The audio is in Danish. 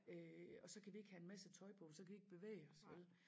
Øh og så kan vi ikke have en masse tøj på for så kan vi ikke bevæge os vel